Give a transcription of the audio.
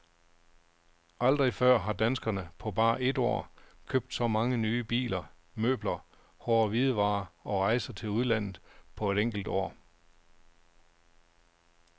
Aldrig før har danskerne på bare et år købt så mange nye biler, møbler, hårde hvidevarer og rejser til udlandet på et enkelt år.